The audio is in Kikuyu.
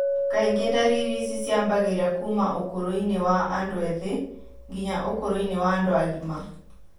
Kaingĩ ndariri ici ciambagĩrĩria kuuma ũkũrũ-inĩ wa andu ethĩ nginya ũkũrũ wa andũ agima.